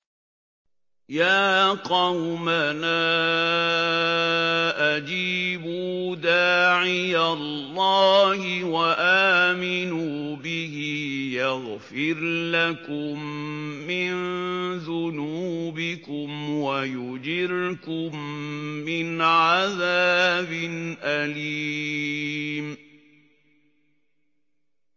يَا قَوْمَنَا أَجِيبُوا دَاعِيَ اللَّهِ وَآمِنُوا بِهِ يَغْفِرْ لَكُم مِّن ذُنُوبِكُمْ وَيُجِرْكُم مِّنْ عَذَابٍ أَلِيمٍ